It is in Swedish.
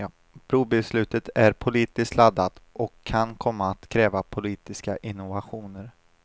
Brobeslutet är politiskt laddat och kan komma att kräva politiska innovationer.